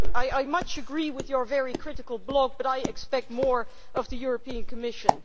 I much agree with your very critical blog, but I expect more of the European Commission.